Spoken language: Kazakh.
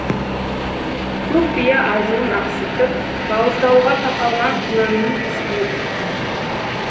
көк бие азуын ақситып бауыздалуға тақалған құнанның үстіне түсті